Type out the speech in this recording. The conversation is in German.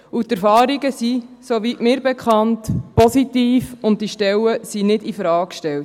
Die Erfahrungen sind, soweit mir bekannt, positiv, und die Stellen werden nicht infrage gestellt.